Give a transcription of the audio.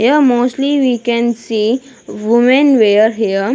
Here mostly we can see women wear here.